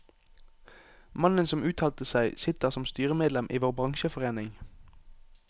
Mannen som uttalte seg, sitter som styremedlem i vår bransjeforening.